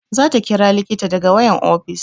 Za ta ƙira likita daga wayan ofis